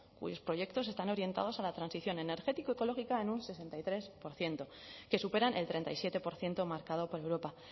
cuyos proyectos están orientados a la transición energético ecológica en un sesenta y tres por ciento que superan el treinta y siete por ciento marcado por europa